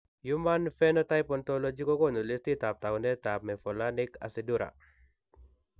Human Phenotype Ontology kokoonu listiitab taakunetaab Mevalonic acidura.